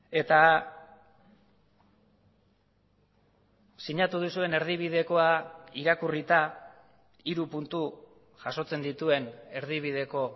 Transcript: eta sinatu duzuen erdibidekoa irakurrita hiru puntu jasotzen dituen erdibideko